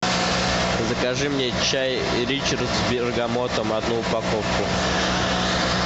закажи мне чай ричард с бергамотом одну упаковку